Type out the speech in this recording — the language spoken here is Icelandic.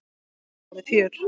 Það verður fjör.